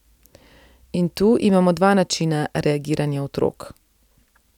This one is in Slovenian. In tu imamo dva načina reagiranja otrok.